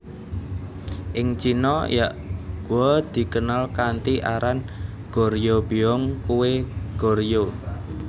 Ing Cina yakgwa dikenal kanthi aran Goryeobyeong kue Goryeo